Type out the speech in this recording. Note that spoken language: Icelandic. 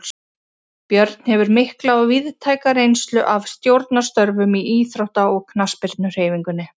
Björn hefur mikla og víðtæka reynslu af stjórnarstörfum í íþrótta- og knattspyrnuhreyfingunni.